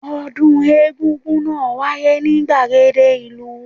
Ọdún egún-gún náà wáyé ní gbàgede ìlú